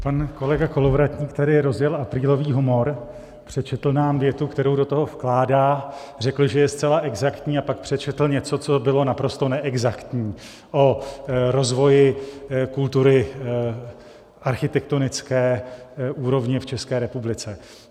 Pan kolega Kolovratník tady rozjel aprílový humor - přečetl nám větu, kterou do toho vkládá, řekl, že je zcela exaktní, a pak přečetl něco, co bylo naprosto neexaktní, o rozvoji kultury, architektonické úrovně v České republice.